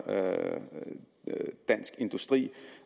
dansk industri